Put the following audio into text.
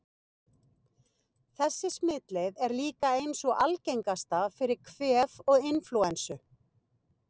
Þessi smitleið er líka ein sú algengasta fyrir kvef og inflúensu.